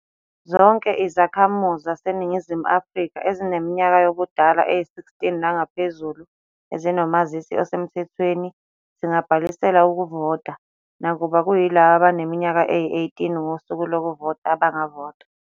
Zonke izakhamuzi zaseNingizimu Afrika ezineminyaka yobudala eyi-16 nangaphezulu ezinomazisi osemthethweni zingabhalisela ukuvota, nakuba kuyilabo abaneminyaka eyi-18 ngosuku lokuvota abangavota.